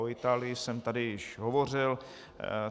O Itálii jsem tady již hovořil.